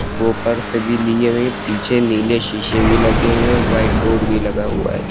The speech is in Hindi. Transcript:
ऊपर से भी लिए हुए पीछे नीले शीशे भी लगे हुए हैं व्हाइट बोर्ड भी लगा हुआ है।